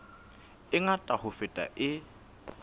e ngata ho feta e